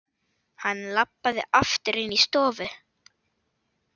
Hann labbaði aftur inní stofu.